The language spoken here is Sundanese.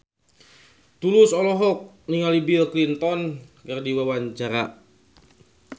Tulus olohok ningali Bill Clinton keur diwawancara